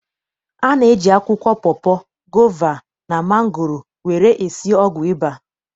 A na-eji akwụkwọ pọpọ, gova, na mangoro were esi ọgwụ ịba.